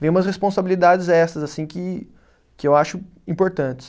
Vêm umas responsabilidades extras assim que, que eu acho importantes.